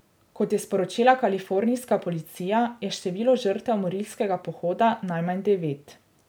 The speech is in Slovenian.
Kot je sporočila kalifornijska policija, je število žrtev morilskega pohoda najmanj devet.